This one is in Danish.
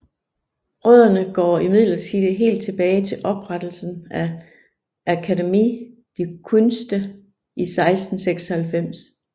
Rødderne går imdidlertid helt tilbage til oprettelsen af Akademie der Künste i 1696